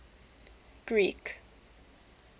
greek